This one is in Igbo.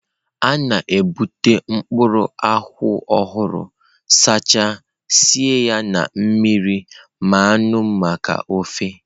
A na-ebute mkpụrụ nkwụ ọhụrụ, sachaa, sie ya na mmiri mmanụ maka ofe.